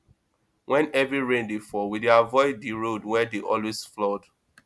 wen heavy rain dey fall we dey avoid di road wey dey always flood